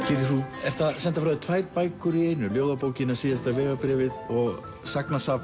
gyrðir þú ert að senda frá þér tvær bækur í einu ljóðabókina síðasta vegabréfið og